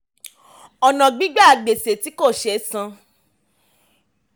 ọ̀nà gbígba gbèsè tí kò sé san.